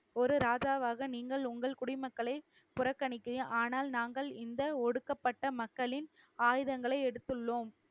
ஒரு ராஜாவாக நீங்கள் உங்கள் குடிமக்களை புறக்கணிக்கறீர்கள், ஆனால் நாங்கள் இந்த ஒடுக்கப்பட்ட மக்களின் ஆயுதங்களை எடுத்துள்ளோம்.